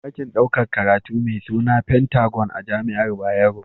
Akwai dakin ɗaukar karatu me Sina pentagon a jamiar bayero